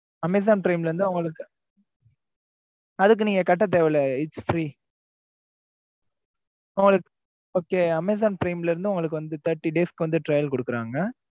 amazon prime ல இருந்து உங்களுக்கு அதுக்கு நீங்க கட்ட தேவையில்ல its free okay amazon prime ல இருந்து உங்களுக்கு வந்து thirty days க்கு வந்து trail குடுக்குறாங்க.